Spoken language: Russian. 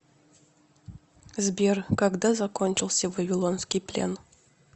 сбер когда закончился вавилонский плен